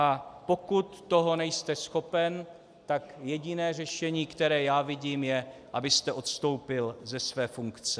A pokud toho nejste schopen, tak jediné řešení, které já vidím, je, abyste odstoupil ze své funkce.